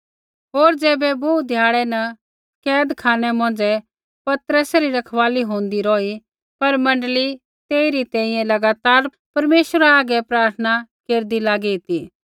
होर ज़ैबै बोहू ध्याड़ै न कैदखानै मौंझ़ै पतरसै री रखवाली होंदी रौही पर मण्डली तेइरी तैंईंयैं लगातार परमेश्वरा हागै प्रार्थना केरदी लागी ती